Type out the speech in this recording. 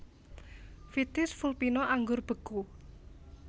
Vitis vulpina Anggur beku